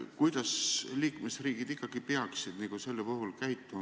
Kuidas liikmesriigid ikkagi peaksid selle puhul käituma?